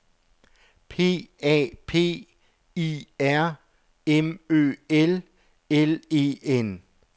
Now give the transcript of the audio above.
P A P I R M Ø L L E N